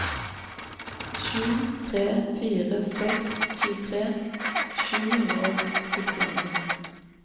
sju tre fire seks tjuetre sju hundre og syttini